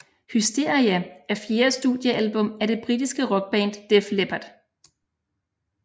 Hysteria er fjerde studieablum af det britiske rockband Def Leppard